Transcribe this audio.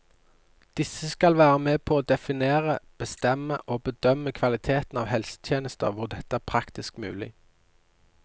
Disse skal være med på å definere, bestemme og bedømme kvaliteten av helsetjenester hvor dette er praktisk mulig.